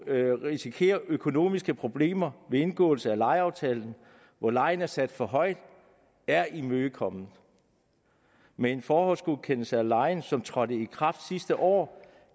risikerer økonomiske problemer ved indgåelse af lejeaftalen hvor lejen er sat for højt er imødekommet med en forhåndsgodkendelse af lejen som trådte i kraft sidste år